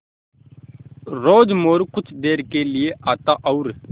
रोज़ मोरू कुछ देर के लिये आता और